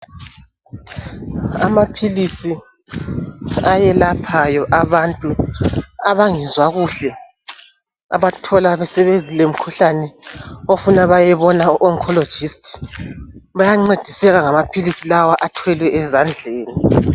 Amaphilisi ayelaphayo abantu abangezwa kuhle abathola beselemikhuhlane sokufuna bayebona u oncologist. Bayancediseka ngamaphilisi lawa athwelwe ezandleni